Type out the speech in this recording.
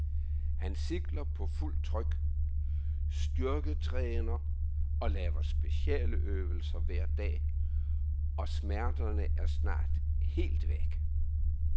Han cykler på fuld tryk, styrketræner og laver specialøvelser hver dag, og smerterne er snart helt væk.